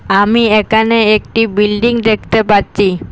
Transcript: আমি একানে একটি বিল্ডিং দেকতে পাচ্ছি।